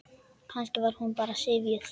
Kannski var hún bara syfjuð.